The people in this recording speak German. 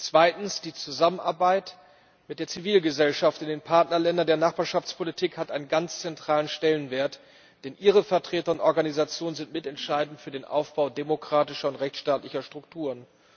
Zweitens Die Zusammenarbeit mit der Zivilgesellschaft in den Partnerländern der Nachbarschaftspolitik hat einen ganz zentralen Stellenwert, denn ihre Vertreter und Organisationen sind mitentscheidend für den Aufbau demokratischer und rechtsstaatlicher Strukturen.